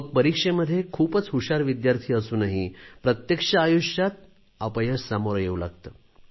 मग परीक्षेमध्ये खूपच हुशार विद्यार्थी असूनही प्रत्यक्ष आयुष्यात अपयश सामोरे येऊ शकते